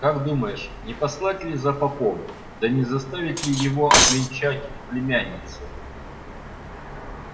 как думаешь не послать ли за попом да не заставить ли его обвенчать племянницу